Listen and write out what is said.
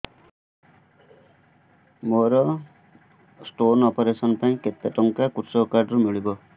ମୋର stone operation ପାଇଁ କେତେ ଟଙ୍କା କୃଷକ କାର୍ଡ ରୁ ମିଳିବ